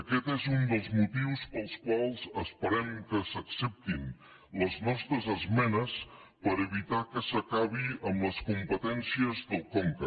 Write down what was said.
aquest és un dels motius pels quals esperem que s’acceptin les nostres esmenes per evitar que s’acabi amb les competències del conca